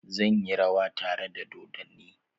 Zan yi rawa tare da dodonni.